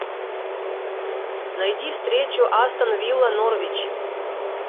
найди встречу астон вилла норвич